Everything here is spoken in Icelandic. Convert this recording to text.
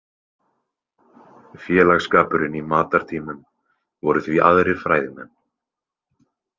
Félagskapurinn í matartímum voru því aðrir fræðimenn.